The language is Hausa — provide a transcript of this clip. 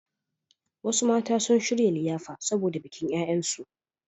Wasu mata sun shirya liyafa saboda bikin ƴaƴansu.